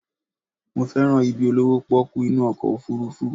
Mo fẹ́ràn ibi olówó pọ́kú inú ọkọ̀ òfurufú